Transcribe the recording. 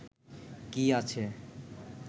কি আছে